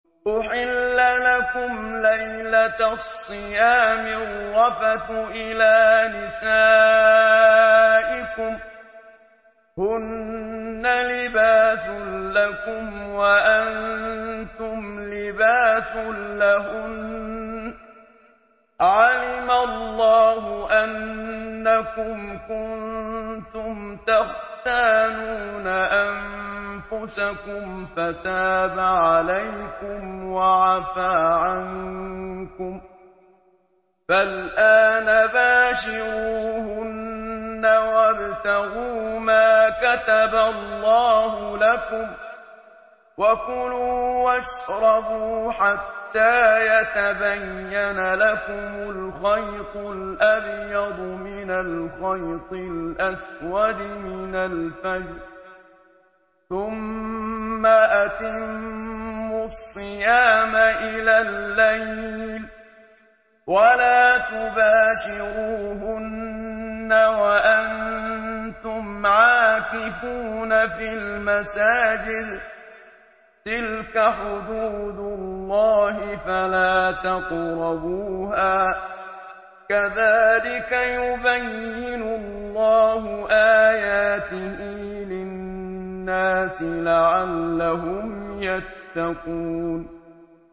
أُحِلَّ لَكُمْ لَيْلَةَ الصِّيَامِ الرَّفَثُ إِلَىٰ نِسَائِكُمْ ۚ هُنَّ لِبَاسٌ لَّكُمْ وَأَنتُمْ لِبَاسٌ لَّهُنَّ ۗ عَلِمَ اللَّهُ أَنَّكُمْ كُنتُمْ تَخْتَانُونَ أَنفُسَكُمْ فَتَابَ عَلَيْكُمْ وَعَفَا عَنكُمْ ۖ فَالْآنَ بَاشِرُوهُنَّ وَابْتَغُوا مَا كَتَبَ اللَّهُ لَكُمْ ۚ وَكُلُوا وَاشْرَبُوا حَتَّىٰ يَتَبَيَّنَ لَكُمُ الْخَيْطُ الْأَبْيَضُ مِنَ الْخَيْطِ الْأَسْوَدِ مِنَ الْفَجْرِ ۖ ثُمَّ أَتِمُّوا الصِّيَامَ إِلَى اللَّيْلِ ۚ وَلَا تُبَاشِرُوهُنَّ وَأَنتُمْ عَاكِفُونَ فِي الْمَسَاجِدِ ۗ تِلْكَ حُدُودُ اللَّهِ فَلَا تَقْرَبُوهَا ۗ كَذَٰلِكَ يُبَيِّنُ اللَّهُ آيَاتِهِ لِلنَّاسِ لَعَلَّهُمْ يَتَّقُونَ